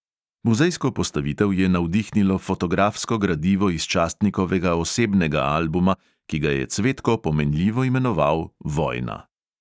Muzejsko postavitev je navdihnilo fotografsko gradivo iz častnikovega osebnega albuma, ki ga je cvetko pomenljivo imenoval vojna.